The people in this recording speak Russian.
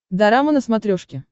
дорама на смотрешке